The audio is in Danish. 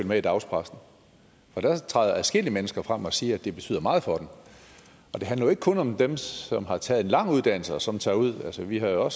med i dagspressen for der træder adskillige mennesker frem der siger at det betyder meget for dem og det handler jo ikke kun om dem som har taget en lang uddannelse og som tager ud altså vi har jo